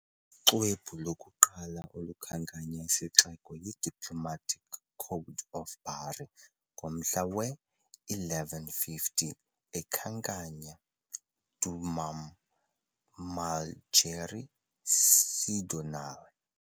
Uxwebhu lokuqala olukhankanya isixeko yi " "Diplomatic Code of Bari" ", yomhla we -1150, ekhankanya " "domum Malgerii Cidoniole" ".